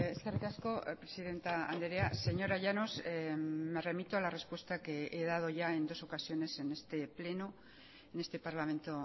eskerrik asko presidente andrea señora llanos me remito a la respuesta que he dado ya en dos ocasiones en este pleno en este parlamento